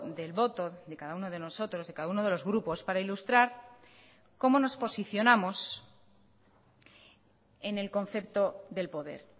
del voto de cada uno de nosotros de cada uno de los grupos para ilustrar cómo nos posicionamos en el concepto del poder